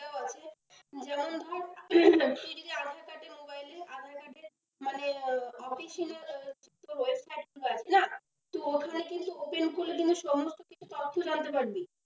যেমন ধর, তুই যদি aadhaar card এ mobile link aadhaar card দিয়ে মানে official website খোলা আছে না, তো ওখানে কিন্তু open করলে সমস্ত কিছু তথ্য জানতে পারবি।